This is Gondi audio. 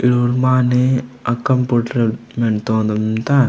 माने ए कम्पुटर तोना मिण्डता।